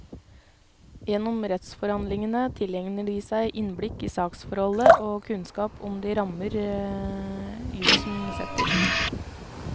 Gjennom rettsforhandlingene tilegner de seg innblikk i saksforholdet og kunnskap om de rammer jusen setter.